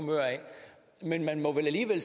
at